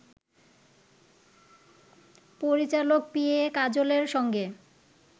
পরিচালক P A কাজলের সঙ্গে